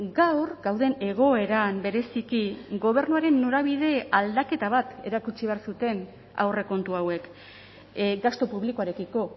gaur gauden egoeran bereziki gobernuaren norabide aldaketa bat erakutsi behar zuten aurrekontu hauek gastu publikoarekiko